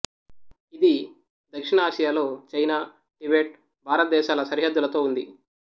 ఇది దక్షిణ ఆసియాలో చైనా టిబెట్ భారతదేశాల సరిహద్దులతో ఉంది